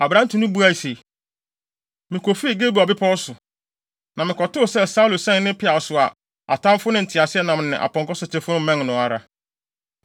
Aberante no buae se, “Mikofii Gilboa bepɔw so, na mekɔtoo sɛ Saulo sɛn ne peaw so a atamfo no nteaseɛnam ne nʼapɔnkɔsotefo mmɛn no ara.